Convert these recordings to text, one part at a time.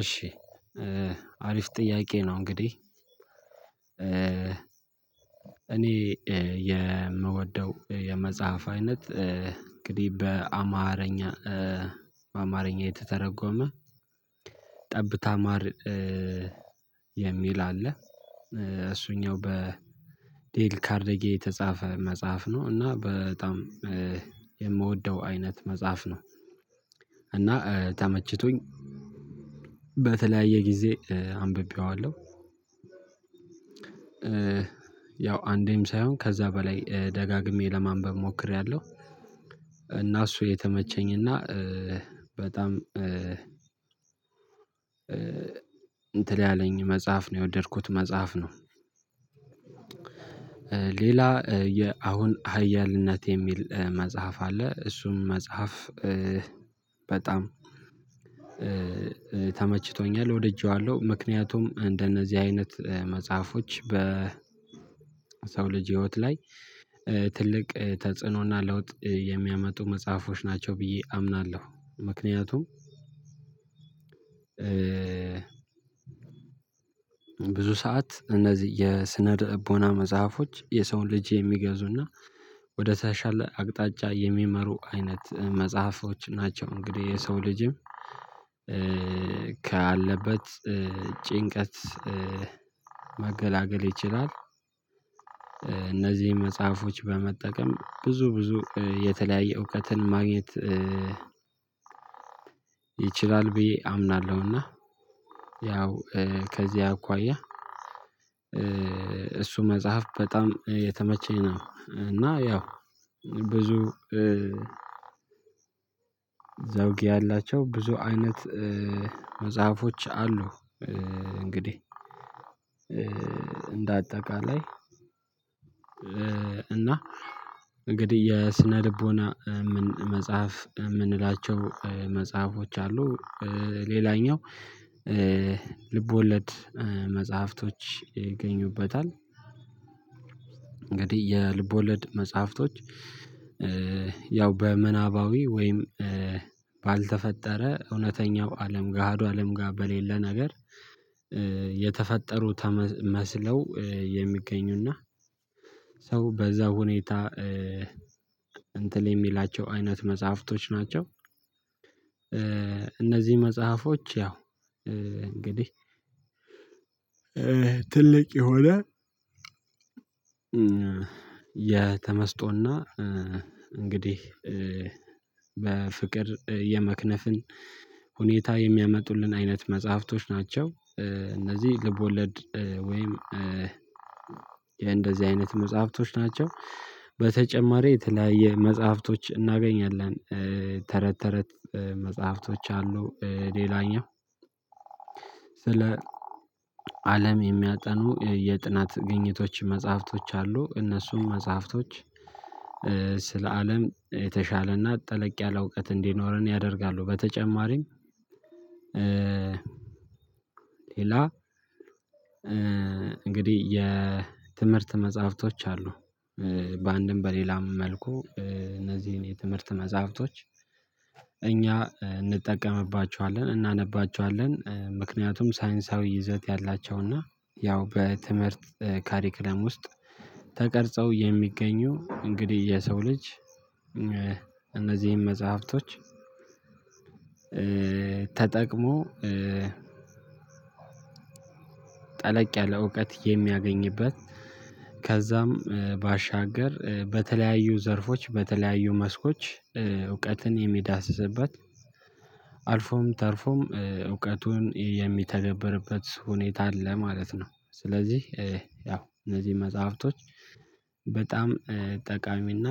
እሺ አሪፍ ጥያቄ ነው። እንግዲህ እኔ የምወደው የመጽሐፍ አይነት እንግዲህ በአማርኛ አማርኛ የተተረጎመ ጠብ ታማር የሚል አለ እሱኛው በዴል ካርዴጌ የተጻፈ መጽሐፍ ነው። እና በጣም የምወደው አይነት መጽሐፍ ነው። እና ተመችቶኝ በተለያየ ጊዜ አንብቤዋለሁ ያው አንዴም ሳይሆን ከዛ በላይ ደጋግሜ ለማንበብ ሞክሬያለሁ። እና እሱ የተመቸኝና በጣም እንትን ያለኝ መጽሐፍ ነው የወደድኩት መጽሐፍ ነው። ሌላ የአሁን ሀያልነት የሚል መጽሐፍ አለ። እሱም መጽሐፍ በጣም ተመችቶኛል ወደየዋለሁ ምክንያቱም እንደነዚህ አይነት መጽሐፎች በ በሰው ልጅ ህይወት ላይ ትልቅ ተጽዕኖና ለውጥ የሚያመጡ መጽሐፎች ናቸው ብዬ አምናለሁ። ምክንያቱም ብዙ ሰዓት እነዚህ የስነ ልቦና መጽሐፎች የሰውን ልጅ የሚገዙና ወደ ተሻለ አቅጣጫ የሚመሩ አይነት መጽሐፎች ናቸው። እንግዲህ የሰው ልጅም ካለበት ጭንቀት መገላገል ይችላል። እነዚህን መጽሐፎች በመጠቀም ብዙ ብዙ የተለያየ እውቀትን ማግኘት ይችላል ብዬ አምናለሁና። ያው ከዚያ አኳያ እሱ መጽሐፍ በጣም የተመቸኝ ነው። እና ያው ብዙ ዘውጊ ያላቸው ብዙ አይነት መጽሐፎች አሉ እንግዲህ እንደ አጠቃላይ እና እንግዲህ የስነ ልቦና መጽሐፍ የምንላቸው መጽሐፎች አሉ ሌላኛው ልቦለድ መጽሐፍቶች ይገኙበታል። እንግዲህ የልቦለድ መጽሐፍቶች ያው በምናባዊ ወይም ባልተፈጠረ እውነተኛው አለም ጋሃዱ አለም ጋሃዱ አለም በሌለ ነገር የተፈጠሩ መስለው የሚገኙና ሰው በዛ ሁኔታ እንትን የሚላቸው አይነት መጽሐፍቶች ናቸው። እነዚህ መጽሐፎች ያው እንግዲህ ትልቅ የሆነ የተመስጦና እንግዲህ በፍቅር የመክነፍን ሁኔታ የሚያመጡልን አይነት መጽሐፍቶች ናቸው። እነዚህ ልቦለድ ወይም የእንደዚህ አይነት መጽሐፍቶች ናቸው። በተጨማሪ የተለያየ መጽሐፍቶች እናገኛለን ተረት ተረት መጽሐፍቶች አሉ። ሌላኛው ስለ አለም የሚያጠኑ የጥናት ግኝቶች መጽሐፍቶች አሉ። እነሱም መጽሐፍቶች ስለ አለም የተሻለና ጠለቅ ያለ እውቀት እንዲኖረን ያደርጋሉ። በተጨማሪም ሌላ እንግዲህ የትምህርት መጽሐፍቶች አሉ በአንድም በሌላም መልኩ እነዚህን የትምህርት መጽሐፍቶች እኛ እንጠቀምባቸዋለን እናነባቸዋለን። ምክንያቱም ሳይንሳዊ ይዘት ያላቸውና ያው በትምህርት ካሪኩለም ውስጥ ተቀርጸው የሚገኙ እንግዲህ የሰው ልጅ እነዚህን መጽሐፍቶች ተጠቅሞ ጠለቅ ያለ እውቀት የሚያገኝበት ከዛም ባሻገር በተለያዩ ዘርፎች በተለያዩ መስኮች እውቀትን የሚዳስስበት አልፎም ተርፎም እውቀቱን የሚተገበርበት ሁኔታ አለ ማለት ነው። ስለዚህ ያው እነዚህ መጽሐፍቶች በጣም ጠቃሚና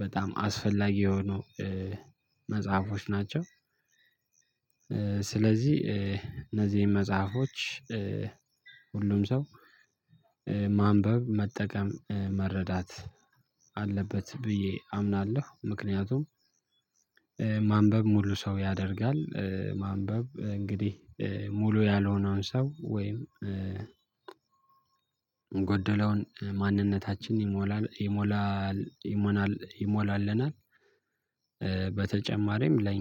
በጣም አስፈላጊ የሆኑ መጽሐፎች ናቸው። ስለዚህ እነዚህን መጽሐፎች ሁሉም ሰው ማንበብ መጠቀም መረዳት አለበት ብዬ አምናለሁ። ምክንያቱም ማንበብ ሙሉ ሰው ያደርጋል ማንበብ እንግዲህ ሙሉ ያልሆነውን ሰው ወይም ጎደለውን ማንነታችን ይሞላል ይሞላል ይሞላልናል። በተጨማሪም ለ